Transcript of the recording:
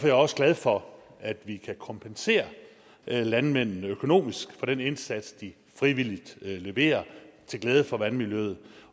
jeg også glad for at vi kan kompensere landmændene økonomisk for den indsats de frivilligt leverer til glæde for vandmiljøet